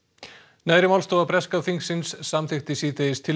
neðri málstofa breska þingsins samþykkti síðdegis tillögu